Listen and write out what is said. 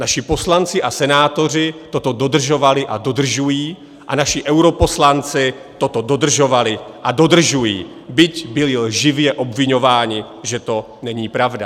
Naši poslanci a senátoři toto dodržovali a dodržují a naši europoslanci toto dodržovali a dodržují, byť byli lživě obviňováni, že to není pravda.